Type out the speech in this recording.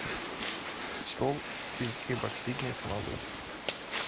стол из эпоксидной смолы